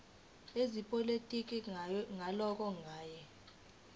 ezepolitiki ngalowo nyaka